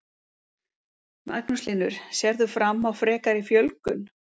Magnús Hlynur: Sérð þú fram á frekari fjölgun?